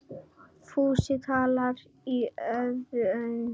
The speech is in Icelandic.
Fúsi tálgaði í óða önn.